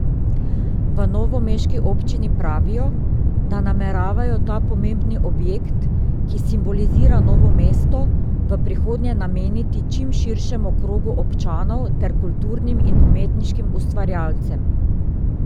V novomeški občini pravijo, da nameravajo ta pomembni objekt, ki simbolizira Novo mesto, v prihodnje nameniti čim širšemu krogu občanov ter kulturnim in umetniškim ustvarjalcem.